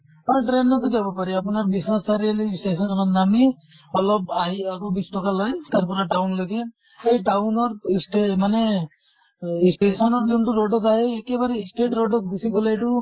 হয় train তো যাব পাৰি আপোনাৰ বিশ্বনাথ চাৰিআলি station ত নামি অলপ আহি আকৌ বিছ ট্কা লয় তাৰ পৰা town লৈকে। সেই town ৰ স্তে মানে অ station ৰ যোনটো road ত আহে এতিয়া বাৰু straight road ত গুছি গʼলে এইটো